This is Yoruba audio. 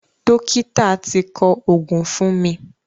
Dọ́kítà ti kọ òògùn fún mi.